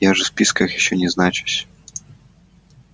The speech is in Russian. я же в списках ещё не значусь